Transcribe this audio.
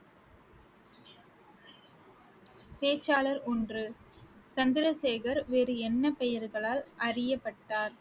பேச்சாளர் ஒன்று, சந்திரசேகர் வேறு என்ன பெயர்களால் அறியப்பட்டார்